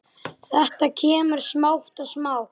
Þetta kemur smátt og smátt.